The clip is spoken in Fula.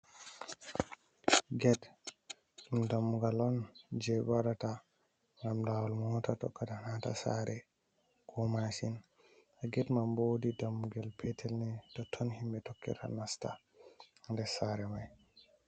Get dum dammugal on je bewadata gam lawol mota tokkada nasta sare ko mashin, get man wodi dammugal petel ne totton himbe tokketa nasta der sare mai.